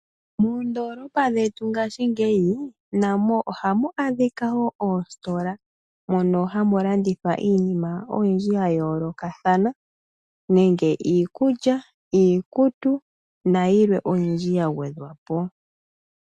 Moondoolopa dhetu ngashingeyi namo ohamu adhika woo oositola mono hamu landithwa iinima oyindji ya yoolokathana nenge iikulya, iikutu, nayilwe oyindji ya gwedhwapo.